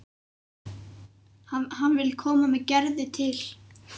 Hann vill koma með Gerði til